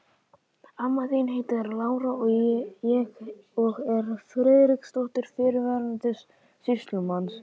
Amma þín heitir Lára og er Friðriksdóttir, fyrrverandi sýslumanns.